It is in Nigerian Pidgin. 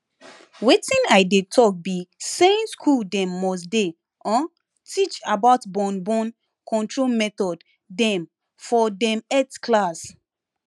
wetin i dey talk be saying school dem must dey huhh teach about born born control method dem for dem health class